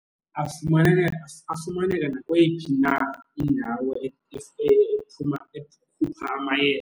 Afumaneka nakweyiphi na indawo ekhupha .